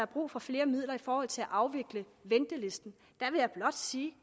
brug for flere midler i forhold til at afvikle ventelisten vil jeg blot sige